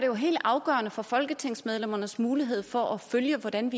jo helt afgørende for folketingsmedlemmernes mulighed for at følge hvordan